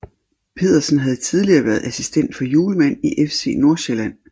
Pedersen havde tidligere været assistent for Hjulmand i FC Nordsjælland